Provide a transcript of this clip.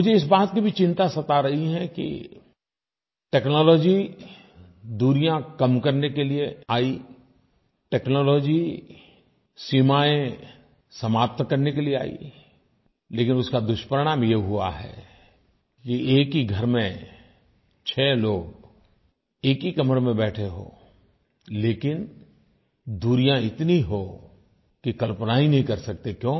मुझे इस बात की भी चिंता सता रही है कि टेक्नोलॉजी दूरियाँ कम करने के लिये आई टेक्नोलॉजी सीमायें समाप्त करने के लिये आई लेकिन उसका दुष्परिणाम ये हुआ है कि एक ही घर में छः लोग एक ही कमरे में बैठें हों लेकिन दूरियाँ इतनी हों कि कल्पना ही नहीं कर सकते